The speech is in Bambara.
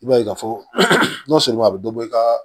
I b'a ye ka fɔ n'o sɔrɔ a bɛ dɔ bɔ i ka